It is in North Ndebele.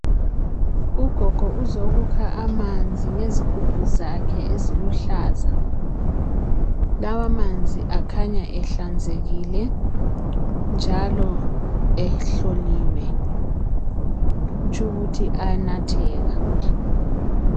Ugogo uzokukha amanzi ngezigubhu zakhe eziluhlaza lawa manzi akhanya ehlanzekile njalo ehloliwe kutsho ukuthi ayanatheka.